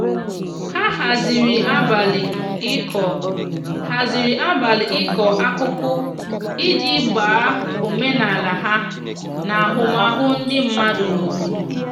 ha haziri abali iko haziri abali iko akụkụ iji gbaa omenala ha na ahụmahụ ndi madụ n'obodo